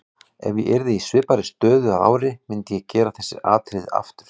Ef ég yrði í svipaðri stöðu að ári myndi ég gera þessi atriði aftur.